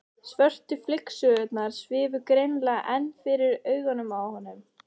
Svörtu flygsurnar svifu greinilega enn fyrir augunum á honum.